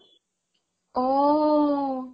অ'